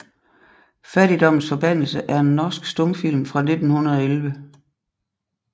Fattigdommens forbandelse er en norsk stumfilm fra 1911